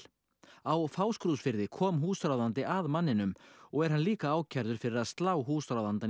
á Fáskrúðsfirði kom húsráðandi að manninum og er hann líka ákærður fyrir að slá húsráðandann í